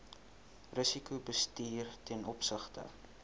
risikobestuur ten opsigte